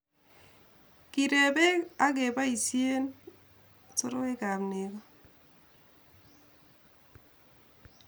kireben ak keboisie soroekab nego